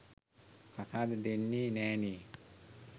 කසාද දෙන්නේ නෑ නේ.